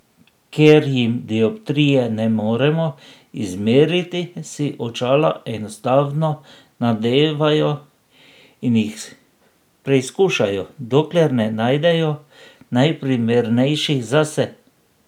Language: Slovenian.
Ker jim dioptrije ne moremo izmeriti, si očala enostavno nadevajo in jih preizkušajo, dokler ne najdejo najprimernejših zase.